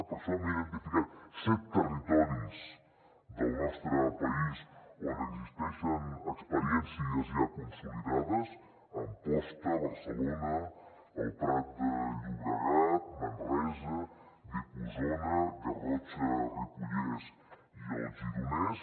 per això hem identificat set territoris del nostre país on existeixen experiències ja consolidades amposta barcelona el prat de llobregat manresa vic osona garrotxa ripollès i el gironès